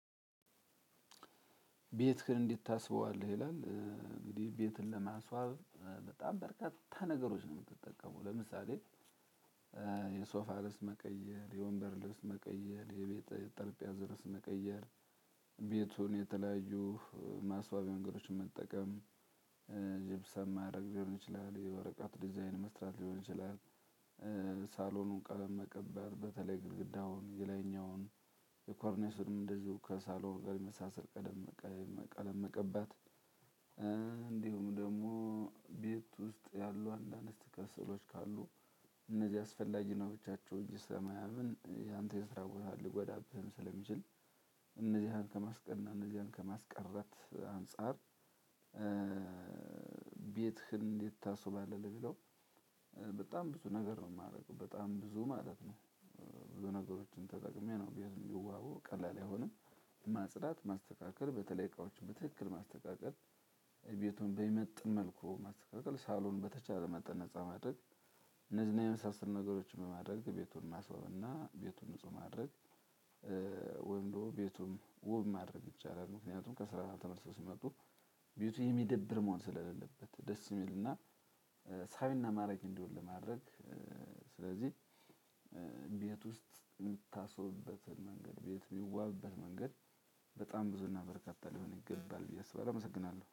ቤትክን እንደት ታስበዋለህ? ይላል እንግዲህ ቤትን ለማስዋብ በጣም በርካታ ነገሮች ነው የምትጠቀመው። ለምሳሌ የሶፋ ልብስ መቀየር የወንበር ልብስ መቀየር የቤት ጠርጴዛ ልብስ መቀየር። ቤቱን የተለያዩ ማስዋቢያ ነገሮችን መጠቀም። ጅብሰም ማድረግ ሊሆን ይችላል የወረቀት ዲዛይን መስራት ሊሆን ይችላል። ሳሎኑን ቀለም መቀባት በተለይ ግድግዳውን የላይኛውን የኮርኔሱንም እንደዚሁ ከሳሎን ጋ የምመሳሰል ቀለም መቀባት። እንዲሁም ደግሞ ቤት ውስጥ ያሉ አንዳንድ ስትከሰሉች ካሉ እነዚህ አስፈላጊ ነው ብቻቸውን እየሰማያምን ያንተን ይስራውታል ልወዳብህ ስለሚችል። እነዚህን ከማስቀል እና እነዚህን ከማስቀረት አንፃር። ቤትህን እንዴት ታሰባለ ለሚለው? በጣም ብዙ ነገር ነው የማደርገው በጣም ብዙ ማለት ነው። ብዙ ነገሮችን ተጠቅሜ ነው ቤት እንዲዋብ ቀላል ባይሆንም። ማጽዳት ማስተካከል በተለይ እቃዎችን በትክክል ማስተካከል። ቤቱን በሚመጥን መልኩ ማስተካከል ሳሎን በተቻለ መጠን ነፃ ማድረግ። እነዚህን የመሳሰሉ ነገሮችን በማድረግ ቤቱን ማስበውና ቤቱን ንጹህ ማድረግ። ወንዶ ቤቱን ውብ ማድረግ ብቻ አይደለም። ምክንያቱም ከስራው ተመልሶ ሲመጡ ቤቱ የሚደብር መሆን ስለሌለበት ደስ ሚልና ሳቢና ማራኪ እንዲሆን ለማድረግ። ስለዚህ ቤት ውስጥ የምታስቦበት መንገድ ቤት የምዋበበት መንገድ በጣም ብዙ እና በርካታ ሊሆን ይገባል ብዬ አመሰግናለሁ